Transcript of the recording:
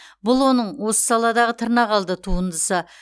бұл оның осы саладағы тырнақалды туындысы